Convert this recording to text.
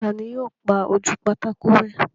Ta ni yóò pa ojú pátákó rẹ́?